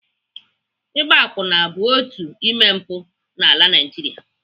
Ịgba akwụna bụ otu n'ime mpụ n'ala Naijiria.